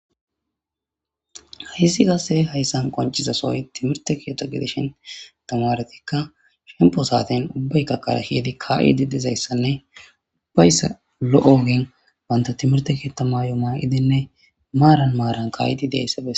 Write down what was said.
Haysi qase haysan qonc'izasoy timirte keetha gidishin, tamareti shempo saten ubbayka kare kezidi ka'ishe dizaysanne baysa lo'iza banta timirte keetha mayo mayidi maaran maaran ka'idi dizaysa besses.